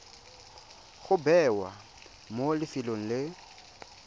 go bewa mo lefelong le